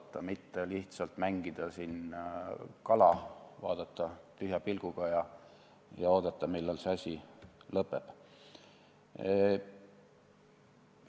Ei ole vaja mitte lihtsalt siin kala mängida, vaadata tühja pilguga ja oodata, millal see asi lõpeb.